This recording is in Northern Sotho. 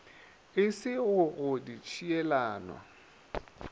e se go go ditšhielano